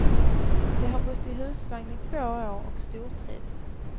De har bott i husvagn i två år och stortrivs.